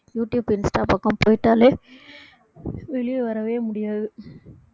YouTube Insta பக்கம் போயிட்டாலே வெளிய வரவே முடியாது